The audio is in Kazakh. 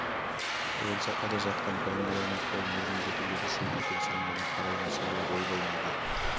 оянса қайда жатқанын пайымдай алмай қолын ербеңдетіп еді шөп екен саңлаудан қара иван сыбырлап ойбай неге